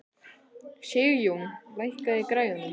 Sigjón, lækkaðu í græjunum.